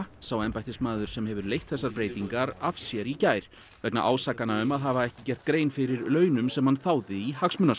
sá embættismaður sem hefur leitt þessar breytingar af sér í gær vegna ásakana um að hafa ekki gert grein fyrir launum sem hann þáði í